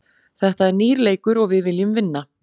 Þetta er nýr leikur og við viljum vinna.